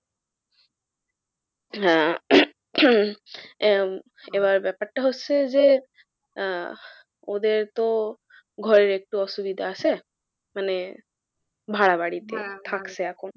এরম এবার ব্যাপারটা হচ্ছে যে আহ ওদের তো ঘরের একটু অসুবিধা আসে মানে ভাড়া বাড়িতে তো বলছে যে,